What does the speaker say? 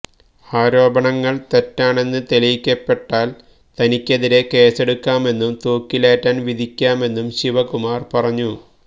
ആരോപണങ്ങള് തെറ്റാണെന്ന് തെളിയിക്കപ്പെട്ടാല് തനിക്കെതിരെ കേസെടുക്കാമെന്നും തൂക്കിലേറ്റാന് വിധിക്കാമെന്നും ശിവകുമാര് പറഞ്ഞു